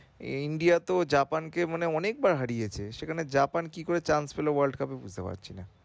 India তো Japan কে মানে অনেক বার হারিয়েছে সেখানে Japan কি করে change পেলো world cup এ বুঝতে পারছি না।